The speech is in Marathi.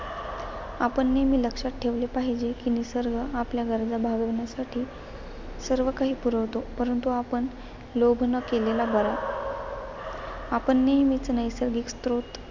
आपण नेहमी लक्षात ठेवले पाहिजे की निसर्ग आपल्या गरजा भागवण्यासाठी सर्व काही पुरवतो. परंतु आपण लोभ न केलेला बरा. आपण नेहमीच नैसर्गिक स्रोत